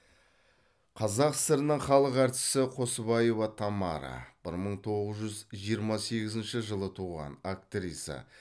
қазақ сср інің халық әртісі қосыбаева тамара бір мың тоғыз жүз жиырма сегізінші жылы туған актриса